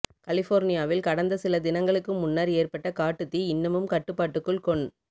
கலிஃபோர்னியாவில் கடந்த சில தினங்களுக்கு முன்னர் ஏற்பட்ட காட்டுத்தீ இன்னமும் கட்டுப்பாட்டுக்குள் கொண்